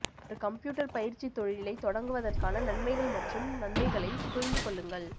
ஒரு கம்ப்யூட்டர் பயிற்சி தொழிலை தொடங்குவதற்கான நன்மைகள் மற்றும் நன்மைகளை புரிந்து கொள்ளுங்கள்